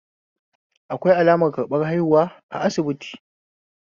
Akwai alamar karbar haihuwa a asibiti.